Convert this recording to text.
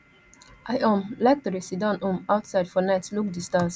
i um like to dey siddon um outside for night look di stars